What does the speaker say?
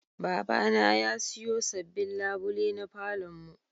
Babana ya siyo sabbin labule na falon mu.